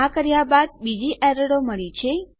આ કર્યા બાદ બીજી એરરો મળી છે